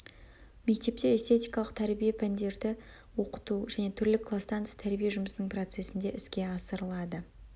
мектепте эстетикалық тәрбие пәндерді оқыту және түрлі кластан тыс тәрбие жұмысының процесінде іске асырылады